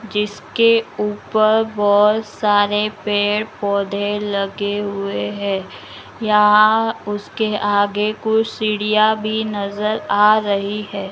जिसके ऊपर बहुत सारे पेड़-पौधे लगे हुए हैं यहाँ उसके आगे कुछ सीढ़ियाँ भी नजर आ रही हैं।